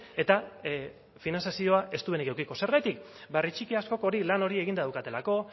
eta finantzazioa ez duenik edukiko zergatik herri txiki askok hori lan hori eginda daukatelako